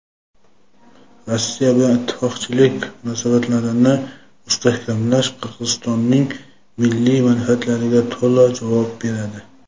Rossiya bilan ittifoqchilik munosabatlarini mustahkamlash Qirg‘izistonning milliy manfaatlariga to‘la javob beradi.